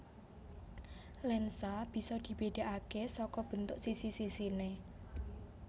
Lensa bisa dibedakake saka bentuk sisi sisine